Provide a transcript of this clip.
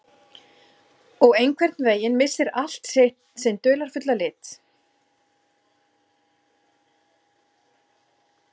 Og einhvern veginn missir allt sinn dularfulla lit.